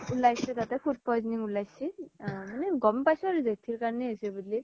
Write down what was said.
উলাইচি তাতে food poisoning উলাইচি মানে গ'ম পাইছো আৰু জেথিৰ কাৰনে হৈছে বুলি